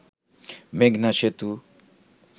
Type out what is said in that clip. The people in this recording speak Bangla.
মেঘনা সেতু